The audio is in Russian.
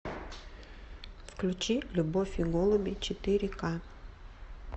включи любовь и голуби четыре ка